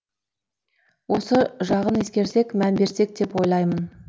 осы жағын ескерсек мән берсек деп ойлаймын